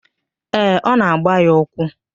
Ee, ọ na-agba ya ụkwụ.